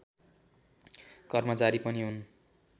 कर्मचारी पनि हुन्